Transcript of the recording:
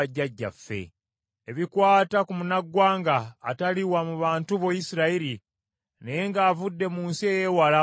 “Ebikwata ku munnaggwanga atali wa mu bantu bo Isirayiri, naye ng’avudde mu nsi ey’ewala olw’erinnya lyo,